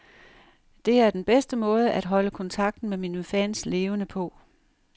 Det er den bedste måde at holde kontakten med mine fans levende på.